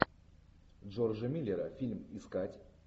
джорджа миллера фильм искать